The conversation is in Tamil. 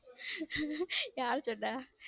யாரு சொன்ன.